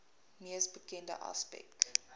mees bekende aspek